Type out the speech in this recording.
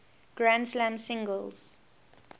grand slam singles